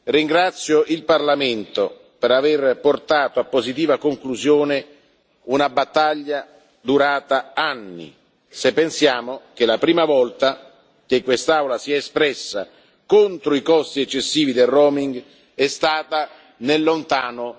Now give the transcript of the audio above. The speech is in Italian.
Ringrazio il Parlamento per aver portato a positiva conclusione una battaglia durata anni, se pensiamo che la prima volta che quest'Aula si è espressa contro i costi eccessivi del roaming è stata nel lontano